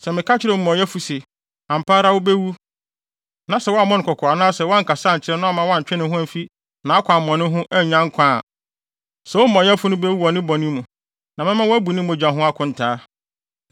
Sɛ meka kyerɛ omumɔyɛfo se, ‘Ampa ara wubewu’ na sɛ woammɔ no kɔkɔ anaasɛ woankasa ankyerɛ no amma wantwe ne ho amfi nʼakwammɔne ho annya nkwa a, saa omumɔyɛfo no bewu wɔ ne bɔne mu, na mɛma woabu ne mogya ho akontaa.